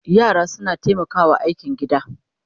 yara suna taimakawa a aikin gida